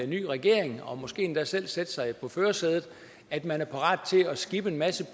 ny regering og måske endda selv sætte sig i førersædet at man er parat til at skippe en masse